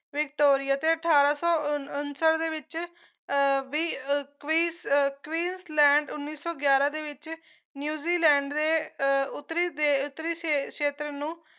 Victoria ਤੇ ਅਠਾਰਾਂ ਸੌ ਅਹ ਉਣ ਉਨਸੱਠ ਦੇ ਵਿੱਚ ਅਹ ਵੀ ਕਵੀਕਵਿਸ ਅਹ ਕਵਿਨਸਲੈਂਡ ਉੱਨੀ ਸੌ ਗਿਆਰਾਂ ਦੇ ਵਿੱਚ ਨਿਊਜ਼ੀਲੈਂਡ ਦੇ ਅਹ ਉੱਤਰੀ ਦੇ ਉੱਤਰੀ ਸ਼ੇਤਰ ਨੂੰ